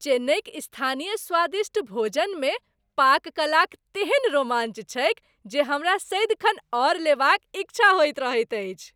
चेन्नईक स्थानीय स्वादिष्ट भोजनमे पाककलाक तेहन रोमांच छैक जे हमरा सदिखन आओर लेबाक इच्छा होइत रहैत अछि।